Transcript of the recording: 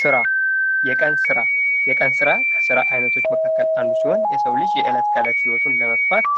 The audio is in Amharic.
ስራ የቀን ስራ የቀን ስራ ከስራ አይነቶች መካከል አንዱ ሲሆን የሰው ልጆች የዕለት ተዕለት ህይወቱን ለመግፋት